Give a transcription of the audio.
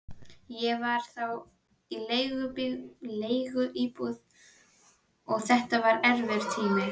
Ég var þá í leiguíbúð og þetta var erfiður tími.